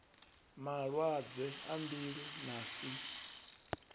malwadze a mbilu na si